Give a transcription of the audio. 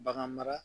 Bagan mara